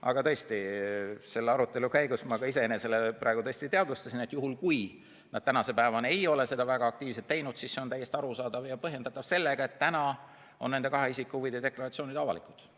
Aga tõesti, selle arutelu käigus ma ka iseenesele praegu teadvustasin, et kui nad tänase päevani ei ole seda väga aktiivselt teinud, siis see on täiesti arusaadav ja põhjendatav sellega, et nende kahe isiku huvide deklaratsioonid on avalikud.